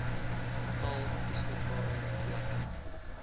getal beskikbare plekke